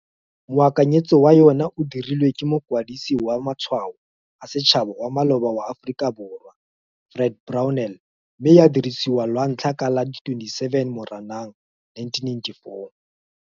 Moakanyetso wa yona o dirilwe ke Mokwadisi wa Matshwao a Setšhaba wa maloba wa Aforika Borwa, Fred Brownell, mme ya dirisiwa lwantlha ka la 27 Moranang 1994.